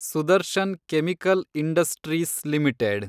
Sudarshan chemical industries limited